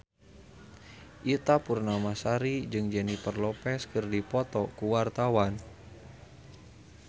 Ita Purnamasari jeung Jennifer Lopez keur dipoto ku wartawan